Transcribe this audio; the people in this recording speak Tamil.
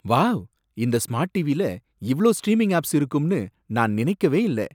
வாவ்! இந்த ஸ்மார்ட் டிவில இவ்ளோ ஸ்ட்ரீமிங் ஆப்ஸ் இருக்கும்னு நான் நினைக்கவே இல்ல!